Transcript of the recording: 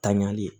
Tanyali